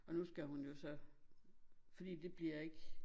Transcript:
Og nu skal hun jo så fordi de bliver ikke